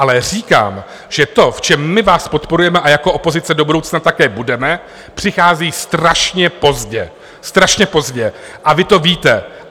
Ale říkám, že to, v čem my vás podporujeme a jako opozice do budoucna také budeme, přichází strašně pozdě, strašně pozdě, a vy to víte.